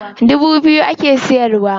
Dubu biyu ake siyarwa.